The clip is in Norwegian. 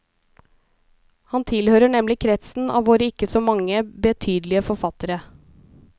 Han tilhører nemlig kretsen av våre ikke så mange be tydelige forfattere.